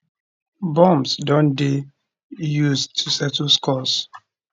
bombs don dey [used to settle scores]